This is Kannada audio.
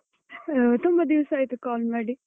ಆ ತುಂಬಾ ದಿವ್ಸ ಆಯ್ತು call ಮಾಡಿ.